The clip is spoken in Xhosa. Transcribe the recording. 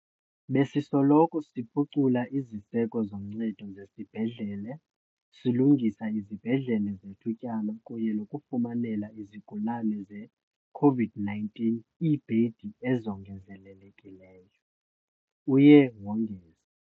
"Besisoloko siphucula iziseko zoncedo zezibhedlele, silungisa izibhedlele zethutyana kunye nokufumanela izigulane ze-COVID-19 iibhedi ezongezelelekileyo," uye wongeza.